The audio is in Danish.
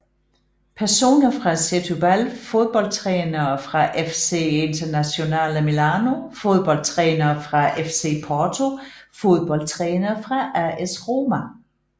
Personer fra Setúbal Fodboldtrænere fra FC Internazionale Milano Fodboldtrænere fra FC Porto Fodboldtrænere fra AS Roma